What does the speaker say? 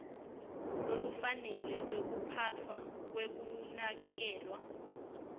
lolufanele lwekuphatfwa kwekunakekelwa